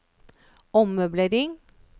ommøblering